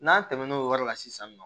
N'an tɛmɛn'o yɔrɔ la sisan nɔ